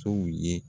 Sow ye